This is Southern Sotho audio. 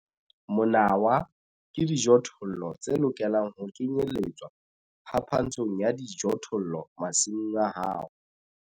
Monawa ke dijothollo tse lokelang ho kenyeletswa phapantshong ya dijothollo masimong a hao.